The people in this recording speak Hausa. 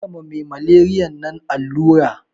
Karka ma me malariyan nan allura